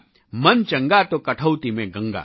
મન ચંગા તો કઠૌતી મેં ગંગા